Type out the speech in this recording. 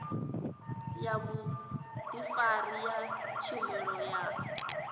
ya vhudifari ya tshumelo ya